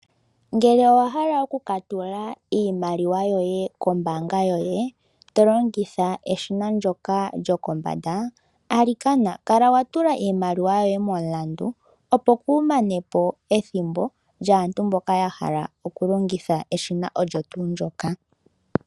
Ngele owahala oku ka tula iimaliwa yoye kombaanga yoye to longitha eshina ndyoka lyokombanda, alikana kala wa tula iimaliwa yoye momulandu, opo kuumane po ethimbo lyaantu mboka ya hala oku longitha eshina olyo tuu ndyoka.